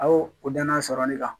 A y'o o danaya sɔrɔ ale kan